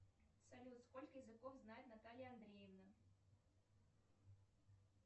салют сколько языков знает наталья андреевна